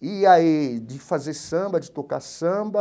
e aí de fazer samba, de tocar samba,